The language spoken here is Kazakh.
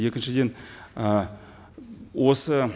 екіншіден ы осы